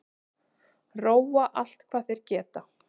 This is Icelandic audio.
Róa allt hvað þeir geta